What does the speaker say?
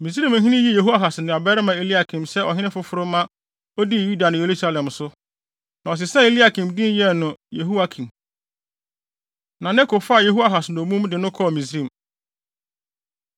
Misraimhene yii Yehoahas nuabarima Eliakim sɛ ɔhene foforo ma odii Yuda ne Yerusalem so, na ɔsesaa Eliakim din yɛɛ no Yehoiakim. Na Neko faa Yehoahas dommum de no kɔɔ Misraim. Yehoiakim Di Hene Wɔ Yuda